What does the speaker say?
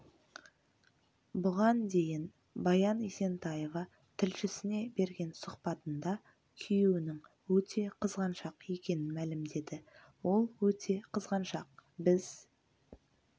бұған дейін баян есентаева тілшісіне берген сұхбатында күйеуінің өте қызғаншақ екенін мәлімдеді ол өте қызғаншақ біз